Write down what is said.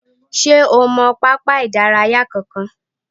Ṣé o mọ pápá ìdárayá kankan?